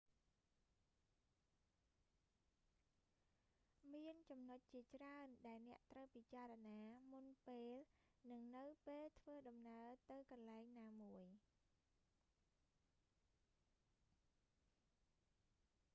មានចំណុចជាច្រើន ដែលអ្នកត្រូវពិចារណា មុនពេល និងនៅពេលធ្វើដំណើរទៅកន្លែងណាមួយ